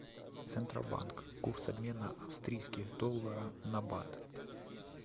центробанк курс обмена австрийских доллара на бат